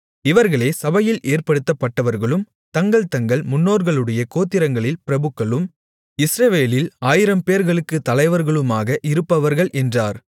இவர்களே சபையில் ஏற்படுத்தப்பட்டவர்களும் தங்கள் தங்கள் முன்னோர்களுடைய கோத்திரங்களில் பிரபுக்களும் இஸ்ரவேலில் ஆயிரம்பேர்களுக்குத் தலைவர்களுமாக இருப்பவர்கள் என்றார்